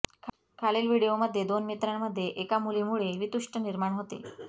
खालील व्हिडिओमध्ये दोन मित्रांमध्ये एका मुलीमुळे वितुष्ट निर्माण होते